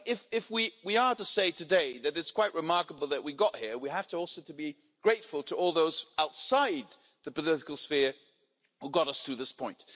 If we are to say today that it's quite remarkable that we got here, we have also to be grateful to all those outside the political sphere who got us to this point.